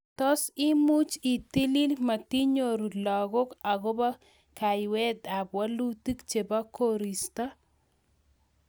Tos imuchi itil matinyoru lagok akopo kayweet ap walutik chepo koristo